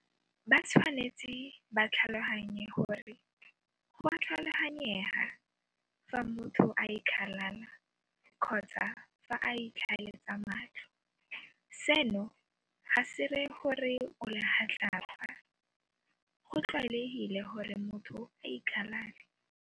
Batshwanetse ba tlhaloganye gore go a tlhaloganyega fa motho a ikgalala kgotsa fa a itlhaeletsa matlho. Seno ga se ree gore o legatlapa. Go tlwaelegile gore motho a ikgalale.